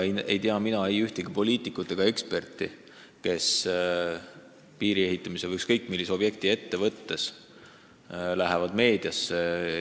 Ei tea mina ühtegi poliitikut ega eksperti, kes piiri või ükskõik millise objekti ehitusest meediale rääkides kohe teaks, mis see maksma läheb.